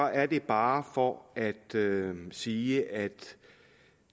er det bare for at sige at